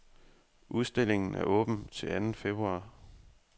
Udstillingen er åben til anden februar.